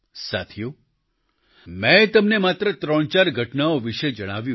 સાથીઓ મેં તમને માત્ર ત્રણચાર ઘટનાઓ વિશે જણાવ્યું